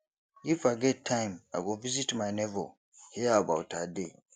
if i get time i go visit my neighbour hear about her day